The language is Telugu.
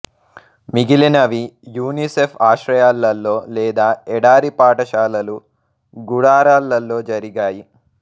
మిగిలినవి యునిసెఫ్ ఆశ్రయాలలో లేదా ఎడారి పాఠశాలలు గుడారాలలో జరిగాయి